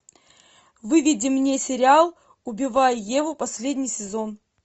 выведи мне сериал убивая еву последний сезон